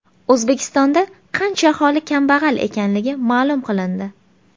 O‘zbekistonda qancha aholi kambag‘al ekanligi ma’lum qilindi.